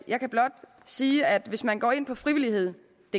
jeg kan blot sige at hvis man går ind på frivilligheddk